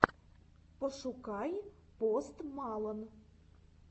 пошукай пост малон